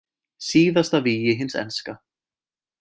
Síðasta vígi hins enska